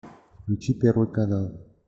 включи первый канал